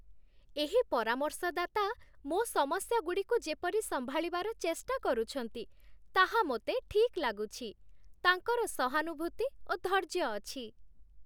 ଏହି ପରାମର୍ଶଦାତା ମୋ ସମସ୍ୟାଗୁଡ଼ିକୁ ଯେପରି ସମ୍ଭାଳିବାର ଚେଷ୍ଟା କରୁଛନ୍ତି, ତାହା ମୋତେ ଠିକ୍ ଲାଗୁଛି। ତାଙ୍କର ସହାନୁଭୂତି ଓ ଧୈର୍ଯ୍ୟ ଅଛି।